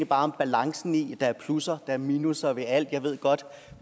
bare om balancen i det der er plusser og minusser ved alt jeg ved godt